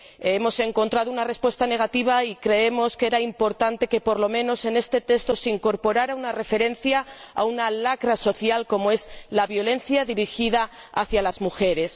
Hemos encontrado una respuesta negativa y creemos que era importante que, por lo menos en este texto, se incorporara una referencia a una lacra social como es la violencia dirigida hacia las mujeres.